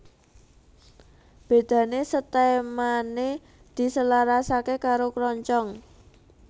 Bédané setèmané diselarasaké karo kroncong